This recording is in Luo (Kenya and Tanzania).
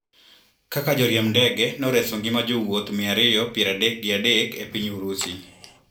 Kaka Joriemb ndege noreso ngima jowuoth mia ariyo piero adek gi adek e piny Urusi.